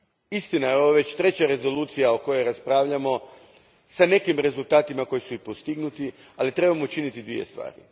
Istina, ovo je već treća rezolucija o kojoj raspravljamo s nekim rezultatima koji su i postignuti, ali trebamo učiniti dvije stvari.